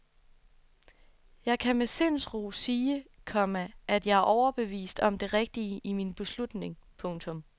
Jeg kan med sindsro sige, komma at jeg er overbevist om det rigtige i min beslutning. punktum